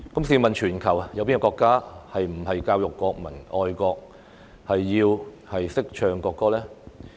試問全球有哪個國家不是教育國民愛國，要懂得唱國歌呢？